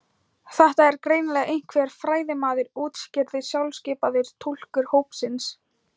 Þetta er greinilega einhver fræðimaður útskýrði sjálfskipaður túlkur hópsins.